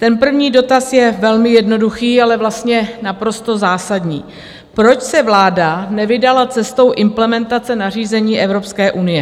Ten první dotaz je velmi jednoduchý, ale vlastně naprosto zásadní: Proč se vláda nevydala cestou implementace nařízení Evropské unie?